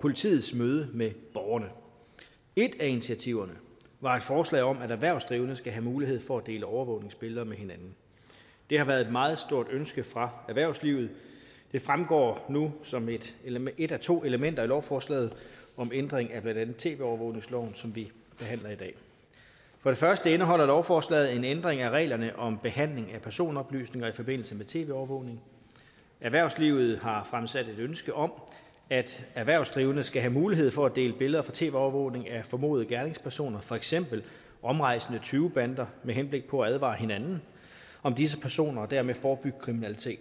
politiets møde med borgerne et af initiativerne var et forslag om at erhvervsdrivende skal have mulighed for at dele overvågningsbilleder med hinanden det har været et meget stort ønske fra erhvervslivet det fremgår nu som et et af to elementer i lovforslaget om ændring af blandt andet tv overvågningsloven som vi behandler i dag for det første indeholder lovforslaget en ændring af reglerne om behandling af personoplysninger i forbindelse med tv overvågning erhvervslivet har fremsat et ønske om at erhvervsdrivende skal have mulighed for at dele billeder fra tv overvågning af formodede gerningspersoner for eksempel omrejsende tyvebander med henblik på at advare hinanden om disse personer og dermed forebygge kriminalitet